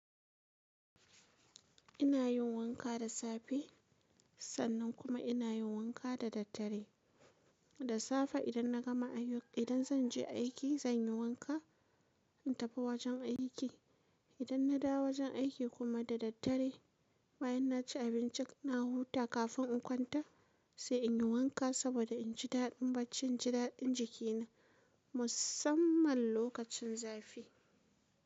Ina yin wanka da safe, sannan kuma ina yin wanka da daddare. Da safe idan na gama aiki, idan zan je aiki zan yi wanka in tafi wajen aiki. Idan na dawo wajen aiki kuma da daddare bayan na ci abinci na huta kafin in kwanta sai in yi wanka saboda in ji daɗin bacci, in ji daɗin jikina musamman lokacin zafi.